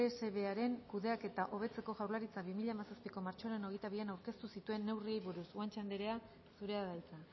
dsbearen kudeaketa hobetzeko jaurlaritzak bi mila hamazazpiko martxoaren hogeita bian aurkeztu zituen neurriei buruz guanche andrea zurea da hitza